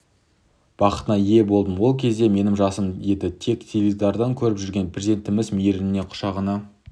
бақытына ие болдым ол кезде менің жасым еді тек теледидардан көріп жүрген президентіміз мейірлене құшағына